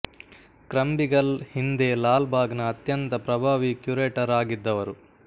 Krumbiegel ಹಿಂದೆ ಲಾಲ್ ಬಾಗ್ ನ ಅತ್ಯಂತ ಪ್ರಭಾವಿ ಕ್ಯೂರೇಟರ್ ಆಗಿದ್ದವರು